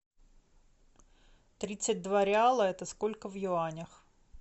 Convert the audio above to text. тридцать два реала это сколько в юанях